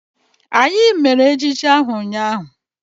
Anyị mere ejije ahụ ụnyaahụ.